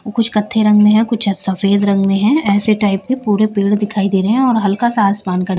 कुछ कत्थे रंग में है कुछ सफेद रंग में है ऐसे टाइप के पूरे पेड़ दिखाई दे रहे हैं और हल्का सा आसमान का--